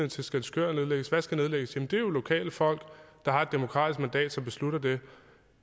til skælskør nedlægges hvad skal nedlægges det er lokale folk der har et demokratisk mandat som beslutter det